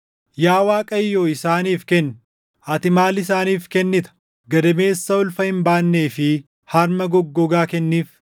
Yaa Waaqayyo isaaniif kenni; ati maal isaaniif kennita? Gadameessa ulfa hin baannee fi harma goggogaa kenniif.